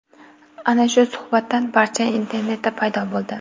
Ana shu suhbatdan parcha internetda paydo bo‘ldi .